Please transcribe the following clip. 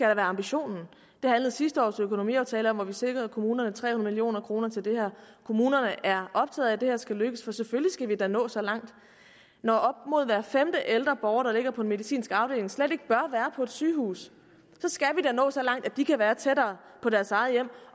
ambitionen det handlede sidste års økonomiaftale om hvor vi sikrede kommunerne tre hundrede million kroner til det her kommunerne er optaget af at det her skal lykkes for selvfølgelig skal vi da nå så langt når op mod hver femte ældre borger der ligger på en medicinsk afdeling slet ikke bør være på et sygehus så skal vi da nå så langt at de kan være tættere på deres eget hjem